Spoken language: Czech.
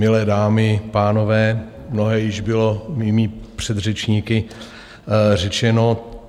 Milé dámy, pánové, mnohé již bylo mými předřečníky řečeno.